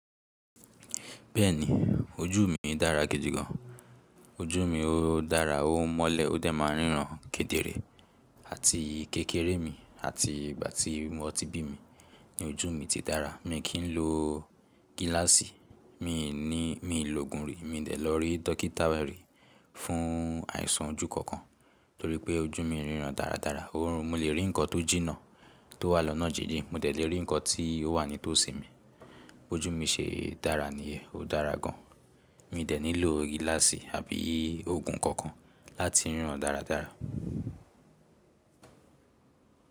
Bẹ́ẹ̀ni, ojú mi dára gidi gan. Ojú mi ó dára, ó mọ́lẹ̀, ó dẹ̀ máa ń ríran kedere àti kékeré mi àti ìgbà tí wọn ti bí mi ni ojú mi ti dára. Mi kì í lo gíláàsì, mi ni, mi ò lòògùn rí. Mi dẹ̀ lọ rí dókítà rí fún àìsàn ojú kankan torípé ojú mi ń ríran dáradára. Oorun mo lè rí nǹkan tó jìnnà tó wà lọ́nà jinjin, mo dẹ̀ lè rí nǹkan tí ó wà nítòsí mi. Ojú mi ṣe é dára nìyẹ, ó dára gan. Mi dẹ̀ nílo gíláàsì àbí òògùn kankan láti ríran dáradára.